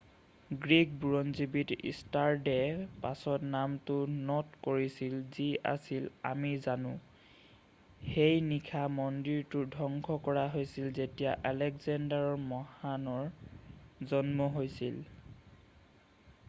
Greek বুৰঞ্জীবিদ ষ্টাৰড'য়ে পাছত নামটো ন'ট কৰিছিল যি আজি আমি জানো৷ সেই নিশাই মন্দিৰটো ধ্বংস কৰা হৈছিল যেতিয়া আলেকজেণ্ডাৰ মহানৰ জন্ম হৈছিল৷